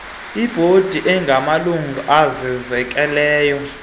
ebhodi angamalungu azenzekelayo